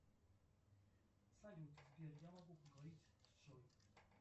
салют сбер я могу поговорить с джой